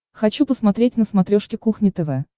хочу посмотреть на смотрешке кухня тв